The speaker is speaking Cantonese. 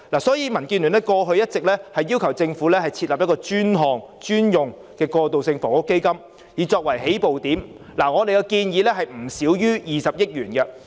所以，民建聯過去一直要求政府以設立專項專用的"過渡性房屋基金"為起步，而我們建議的金額是不少於20億元。